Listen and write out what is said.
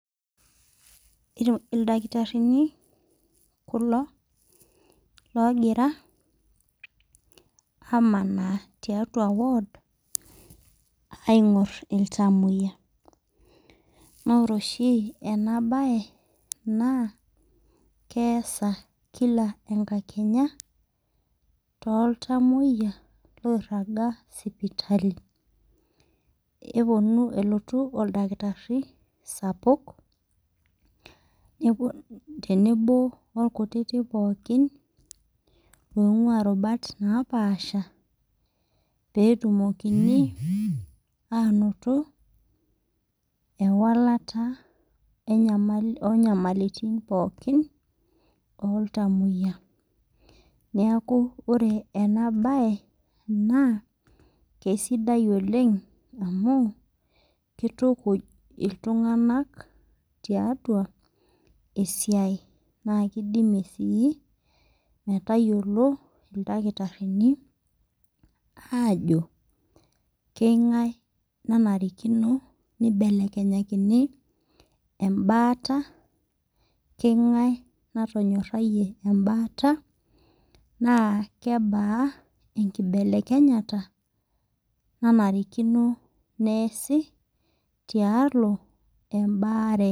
Idakitarrini kulo logira amanaa tiatua ward aing'orr iltamoyia naa ore oshi ena baye naa keesa kila enkakenye toltamoyia loirraga sipitali eponu elotu oldakitarri sapuk nepo tenebo orkutitik pookin loing'ua irubat napaasha petumokini anoto ewalata enyamali onyamalitin pookin oltamoyia niaku ore ena baye naa keisidai oleng amu kitukuj iltung'anak tiatua esiai naa keidimie sii metayiolo ildakitarrini aajo keingae nanarikino neibelekenyakini embaata keng'ae natonyorrayie embaata naa kebaa enkibelekenyata naarikino neesi tialo embaare.